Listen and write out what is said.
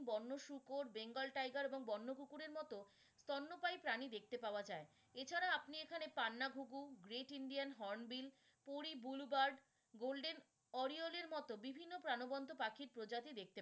বন্য শুকর bengal tiger এবং বন্য কুকুরের মতো স্তন্যপায়ী প্রাণী দেখতে পাওয়া যায়। এছাড়া আপনি এখানে পান্না ঘুঘু, great indian hornbill, bluebird, golden oriole মতো বিভিন্ন প্রাণবন্ত পাখির প্রজাতি দেখতে